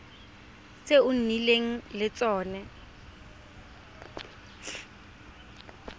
tse o nnileng le tsone